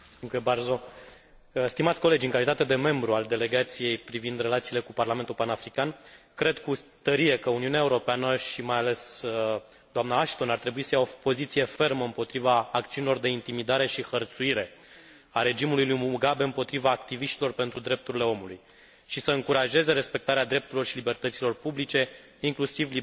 În calitate de membru al Delegației pentru relațiile cu Parlamentul Panafrican, cred cu tărie că Uniunea Europeană și, mai ales, dna Ashton ar trebui să ia o poziție fermă împotriva acțiunilor de intimidare și hărțuire a regimului lui Mugabe împotriva activiștilor pentru drepturile omului și să încurajeze respectarea drepturilor și libertăților publice, inclusiv libertatea de exprimare și adunare,